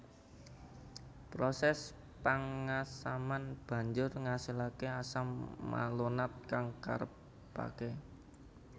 Proses pengasaman banjur ngasilake asam malonat kang karepake